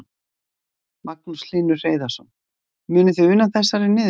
Magnús Hlynur Hreiðarsson: Munuð þið una þessari niðurstöðu?